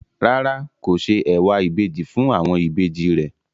Rárá, kò se ẹ̀wà ìbejì fún àwọn ìbejì rẹ̀.